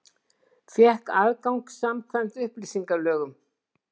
Fékk aðgang samkvæmt upplýsingalögum